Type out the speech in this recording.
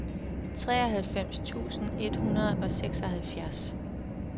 treoghalvfems tusind et hundrede og seksoghalvfjerds